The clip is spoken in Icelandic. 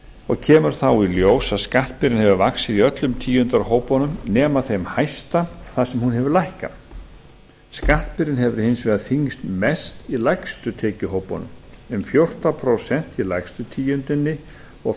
og kemur þá í ljós að skattbyrðin hefur vaxið í öllum tíundarhópunum nema þeim hæsta þar sem hún hefur lækkað skattbyrðin hefur hins vegar þyngst mest í lægstu tekjuhópunum um fjórtán prósent í lægstu tíundinni og